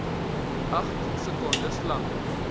agt sekondes lank